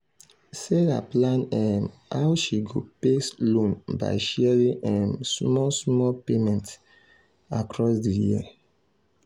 sarah plan um how she go pay loan by sharing um small small payment um across di year.